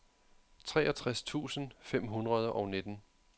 treogtres tusind fem hundrede og nitten